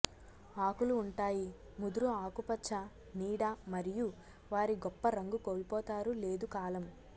ఆకులు ఉంటాయి ముదురు ఆకుపచ్చ నీడ మరియు వారి గొప్ప రంగు కోల్పోతారు లేదు కాలం